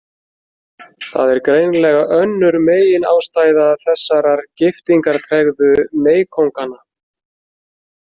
Það er greinilega önnur meginástæða þessarar giftingartregðu meykónganna.